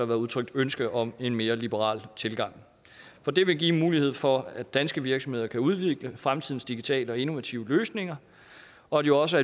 været udtrykt ønske om en mere liberal tilgang for det vil give mulighed for at danske virksomheder kan udvikle fremtidens digitale og innovative løsninger og jo også